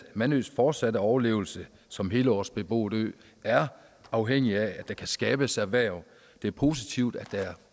mandøs fortsatte overlevelse som helårsbeboet ø er afhængig af at der kan skabes erhverv det er positivt at der er